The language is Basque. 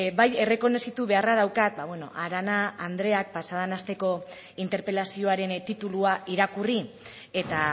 bai errekonozitu beharra daukat arana andreak pasaden asteko interpelazioaren titulua irakurri eta